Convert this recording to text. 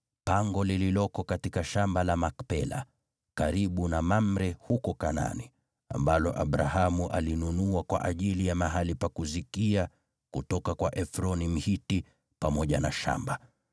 pango lililoko katika shamba la Makpela, karibu na Mamre huko Kanaani, ambalo Abrahamu alinunua kwa ajili ya mahali pa kuzikia kutoka kwa Efroni, Mhiti, pamoja na shamba.